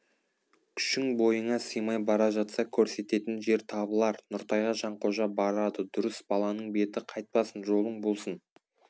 күшің бойыңа сыймай бара жатса көрсететін жер табылар нұртайға жанқожа барады дұрыс баланың беті қайтпасын жолың болсын